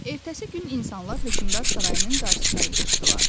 Ertəsi gün insanlar hökmdar sarayının qarşısına yığışdılar.